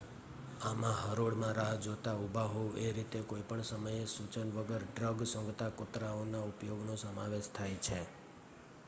આમાં હરોળ માં રાહ જોતાં ઊભા હોવ એ રીતે કોઈ પણ સમયે સૂચના વગર ડ્રગ સૂંઘતા કુતરાઓના ઉપયોગનો સમાવેશ થાય છે